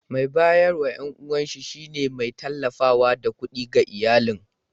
Mai bayarwa yawanci shine mai tallafawa da kuɗi ga iyalin.